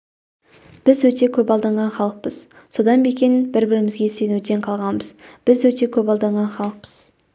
біз өте көп алданған халықпыз содан ба екен бір-бірімізге сенуден қалғанбыз біз өте көп алданған халықпыз